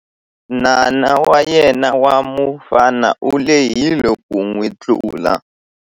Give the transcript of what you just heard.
Nana wa yena wa mufana u lehile ku n'wi tlula.